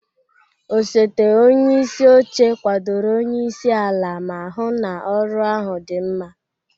Osote onye isi oche kwadoro onye isi ala ma hụ na ọrụ ahụ dị mma.